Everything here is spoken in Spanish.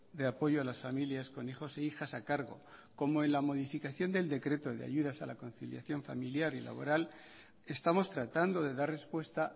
de apoyo a las familias con hijos e hijas a cargo como en la modificación del decreto de ayudas a la conciliación familiar y laboral estamos tratando de dar respuesta